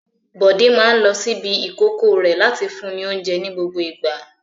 Bọ̀dé máa ń lo ṣíbí ìkókó rẹ̀ láti fún ní oúnjẹ ní gbogbo ìgbà.